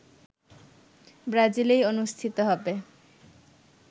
ব্রাজিলেই অনুষ্ঠিত হবে